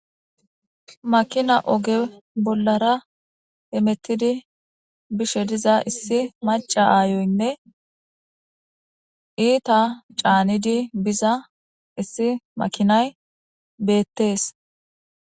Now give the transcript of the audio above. makina oge bollara hemettidi bishe diza issi maca aayoynne iita caanidi biza issi makinay beettees